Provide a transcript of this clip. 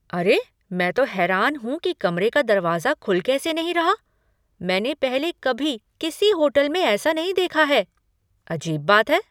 अरे, मैं तो हैरान हूँ कि कमरे का दरवाजा खुल कैसे नहीं रहा! मैंने पहले कभी किसी होटल में ऐसा नहीं देखा है। अजीब बात है!